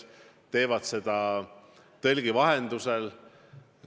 Nad teevad seda tõlgi vahendusel.